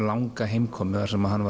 langa heimkomu þar sem hann